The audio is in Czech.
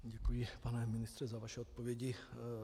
Děkuji, pane ministře, za vaše odpovědi.